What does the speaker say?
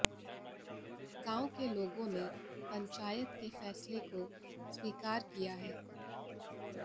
गांव के लोगों ने पंचायत के फैसले को स्वीकार किया है